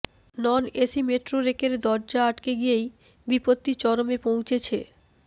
নন AC metro রেকের দরজা আটকে গিয়েই বিপত্তি চরমে পৌঁছেছে